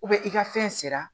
i ka fɛn sera